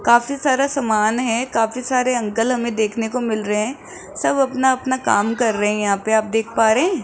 काफी सारा सामान है काफी सारे अंकल हमें देखने को मिल रहे सब अपना अपना काम कर रहे यहां पे आप देख पा रहे --